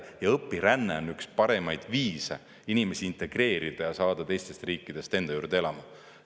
Ja õpiränne on üks parimaid viise inimesi integreerida ja saada teistest riikidest enda juurde elama.